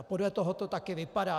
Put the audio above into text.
A podle toho to také vypadá.